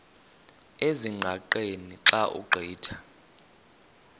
ezingqaqeni xa ugqitha